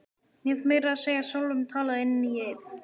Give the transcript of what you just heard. Ég hef meira að segja sjálfur talað inn í einn.